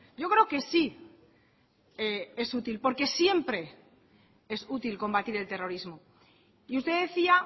yo creo que sí es útil porque siempre es útil combatir el terrorismo y usted decía